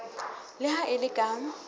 le ha e le ka